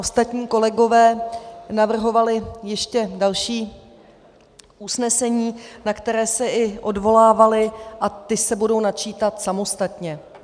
Ostatní kolegové navrhovali ještě další usnesení, na které se i odvolávali, a ta se budou načítat samostatně.